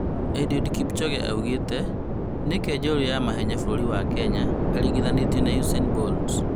Eliud Kipchoge oigĩte "nĩkĩ njorua a mahenya bũrũri wa Kenya araringitganio na Usain Bolt?"